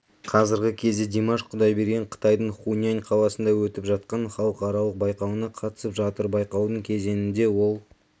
қазіргі кезде димаш құдайберген қытайдың хунань қаласында өтіп жатқан халықаралық байқауына қатысып жатыр байқаудың кезеңінде ол